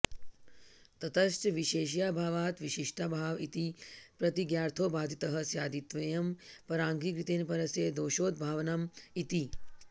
ततश्च विशेष्याभावात् विशिष्टाभाव इति प्रतिज्ञार्थो बाधितः स्यादित्येवं पराङ्गीकृतेन परस्य दोषोद्भावनम् इति